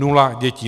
Nula dětí.